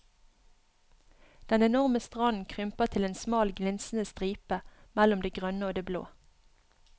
Den enorme stranden krymper til en smal glinsende stripe mellom det grønne og det blå.